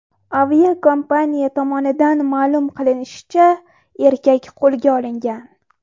Aviakompaniya tomonidan ma’lum qilinishicha, erkak qo‘lga olingan.